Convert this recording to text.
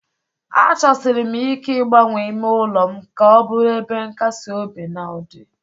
Achọsiri m ike ịgbanwe ime ụlọ m ka ọ bụrụ ebe nkasi obi na ụdị.